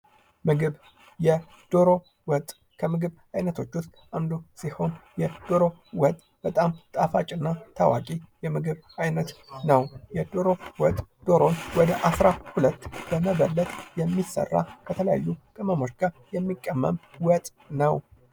ምግብ ፦ዶሮ ወጥ ከምግብ አይነቶች ውስጥ አንዱ ሲሆን በጣም ጣፋጭ እና ታዋቂ የምግብ አይነት ነው። የዶሮ ወጥ ዶሮ ወደ 12 በመበለት የሚሰራ ከተለያዩ ቅመሞች ጋር የሚቀመም ወጥ ነው።